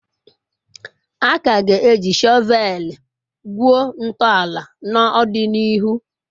A ka ga-eji shọveeli gwuo ntọala n'ọdịnihu.